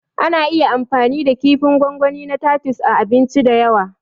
Ana iya amfani da kifin gwangwani na tatus a abinci da yawa